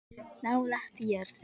Nálægt jörðu